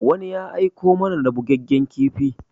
Wani ya aiko mana da bugaggen kifi.